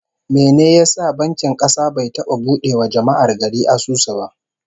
Mene ya sa bankin kasa bai taba bude wa jama'ar gari asusu ba?